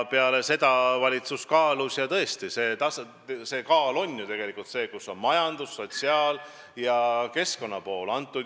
Peale seda valitsus kaalus asja, arvestades majanduslikke, sotsiaalseid ja keskkonnategureid.